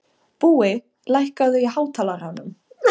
Búi, lækkaðu í hátalaranum.